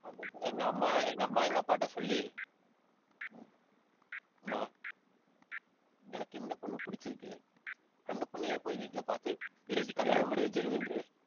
எங்க அம்மா, எங்க அம்மா, எங்க அப்பாகிட்ட சொல்லி அம்மா, எனக்கு இந்த பொண்ணை பிடிச்சிருக்கு. அந்த பொண்ணையே போய், வீட்டுல பார்த்து, பேசி கல்யாணம் பண்ணி வைச்சுருங்கன்றுவேன்.